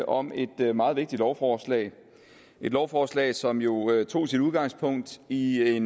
om et meget vigtigt lovforslag et lovforslag som jo tog sit udgangspunkt i i